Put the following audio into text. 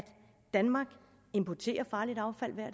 danmark importerer farligt affald hver